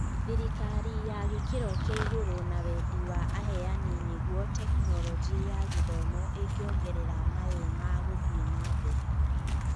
Thĩrikari ya gĩkĩro kĩa igũrũ na wendi wa aheani nĩguo Tekinoronjĩ ya Gĩthomo ĩngĩongerera mayũ ma gũthiĩ nambere.